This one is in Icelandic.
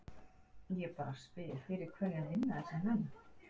Ég bara spyr, fyrir hverja vinna þessir menn?